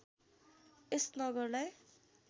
यस नगरलाई